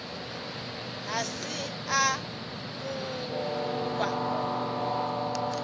ga se a mo kwa